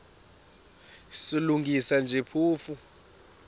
silungisa nje phofu